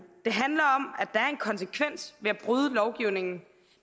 konsekvens ved at bryde lovgivningen